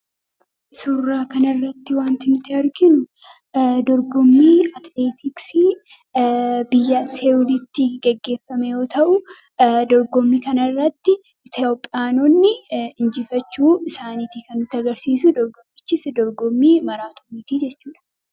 Suuraa kanarratti wanti nuti arginu dorgommii atileetiksii biyya Saawudiitti gaggeeffame yoo ta'u, dorgommii kanarratti Itoophiyaanonni injifachuu isaanii kan agarsiisu. Dorgommichis dorgommii maraatooniiti jechuudha.